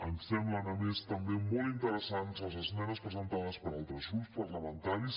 em semblen a més també molt interessants les esmenes presentades per altres grups parlamentaris